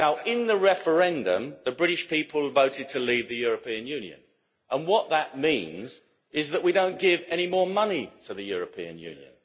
In the referendum, the British people voted to leave the European Union, and what that means is that we don't give any more money to the European Union.